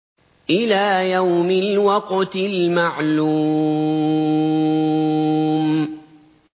إِلَىٰ يَوْمِ الْوَقْتِ الْمَعْلُومِ